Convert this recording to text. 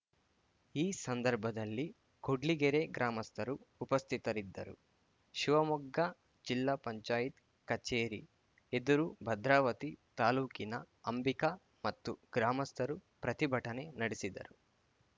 ಈ ಸಂದರ್ಭದಲ್ಲಿ ಕೂಡ್ಲಿಗೆರೆ ಗ್ರಾಮಸ್ಥರು ಉಪಸ್ಥಿತರಿದ್ದರು ಶಿವಮೊಗ್ಗ ಜಿಲ್ಲಾ ಪಂಚಾಯತ್ ಕಚೇರಿ ಎದುರು ಭದ್ರಾವತಿ ತಾಲೂಕಿನ ಅಂಬಿಕಾ ಮತ್ತು ಗ್ರಾಮಸ್ಥರು ಪ್ರತಿಭಟನೆ ನಡೆಸಿದರು